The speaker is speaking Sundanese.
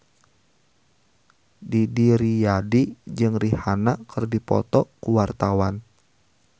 Didi Riyadi jeung Rihanna keur dipoto ku wartawan